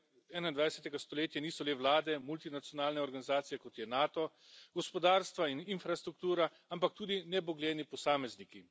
21. stoletja niso le vlade, multinacionalne organizacije, kot je NATO, gospodarstva in infrastruktura, ampak tudi nebogljeni posamezniki.